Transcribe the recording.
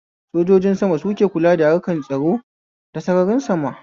Sojojin sama suke kula harkan tsaro ta sararin sama